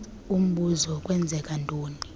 umbuzo kwenzeka ntoni